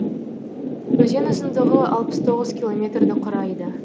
өзен ұзындығы алпыс тоғыз километрді құрайды